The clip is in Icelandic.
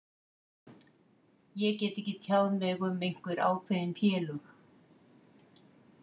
Ég get ekki tjáð mig um einhver ákveðin félög.